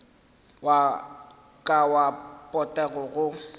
wa ka wa potego go